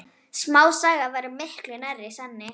Smásaga væri miklu nær sanni.